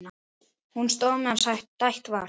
Hún stóð meðan stætt var.